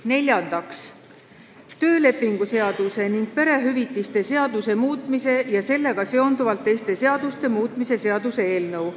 Neljandaks, töölepingu seaduse ning perehüvitiste seaduse muutmise ja sellega seonduvalt teiste seaduste muutmise seaduse muutmise seaduse eelnõu.